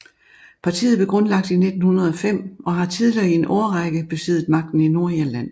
Partiet blev grundlagt i 1905 og har tidligere i en årrække besiddet magten i Nordirland